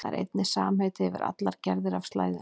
Það er einnig samheiti yfir allar gerðir af slæðunni.